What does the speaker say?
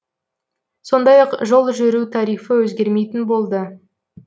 сондай ақ жол жүру тарифі өзгермейтін болды